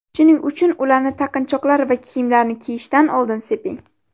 Shuning uchun ularni taqinchoqlar va kiyimlarni kiyishdan oldin seping.